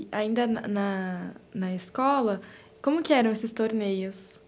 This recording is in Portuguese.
E, ainda na na na escola, como que eram esses torneios?